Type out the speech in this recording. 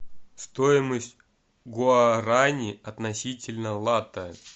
стоимость гуарани относительно лата